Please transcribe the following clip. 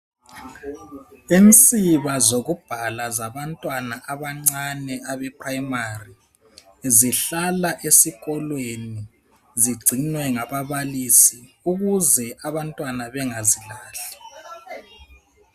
Insiba zokubhala zabantwana abancane abe phuremari zihlala esikolweni zigcinwe ngababalisi ukuze abantwana bengazilahli.